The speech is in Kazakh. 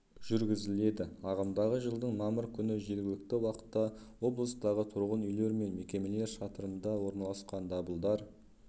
жүргізіледі ағымдағы жылдың мамыр күні жергілікті уақытта облыстағы тұрғын үйлер мен мекемелер шатырында орналасқан дабылдар